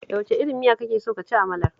Da wace irin miya kake so ka ci amalar?